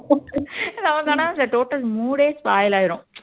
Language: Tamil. நமக்கு ஆனா அந்த total mood ஏ spoil ஆயிரும்